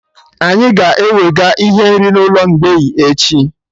Anyị ga-ewega ihe nri n'ụlọ mgbei echi